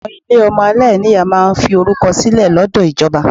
Àwọn ilé ọmọ aláìní ìyá máa ń fi orúkọ sílẹ̀ lọ́dọ̀ ìjọba.